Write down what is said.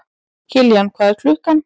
Kiljan, hvað er klukkan?